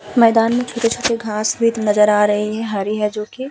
मैंदान में छोटे-छोटे घास नजर आ रहे हैं हरी है जोकि।